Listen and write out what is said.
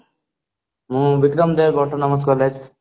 ମୁଁ vikram dev autonomous college